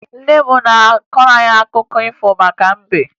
Nne m na-akọrọ anyị akụkọ maka mbe